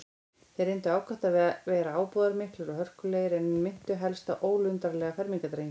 Þeir reyndu ákaft að vera ábúðarmiklir og hörkulegir, en minntu helst á ólundarlega fermingardrengi.